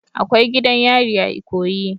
Akwai gidan yari a ikoyi.